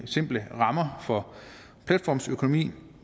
simple rammer for platformsøkonomien